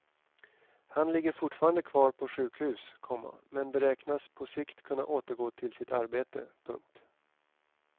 Han ligger fortfarande på sjukhus, komma men beräknas på sikt kunna återgå till sitt arbete. punkt